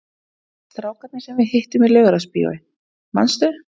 Strákarnir sem við hittum í Laugarásbíói, manstu?